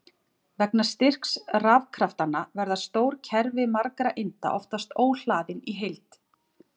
Vegna styrks rafkraftanna verða stór kerfi margra einda oftast óhlaðin í heild.